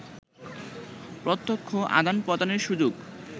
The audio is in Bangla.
প্রত্যক্ষ আদান-প্রদানের সুযোগ